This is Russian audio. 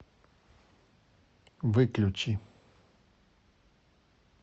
выключи